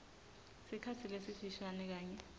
sikhatsi lesifishane kanye